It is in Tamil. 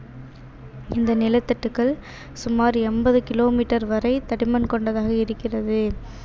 இந்த நிலத்தட்டுக்கள் சுமார் எண்பது kilometer வரை தடிமன் கொண்டதாக இருக்கிறது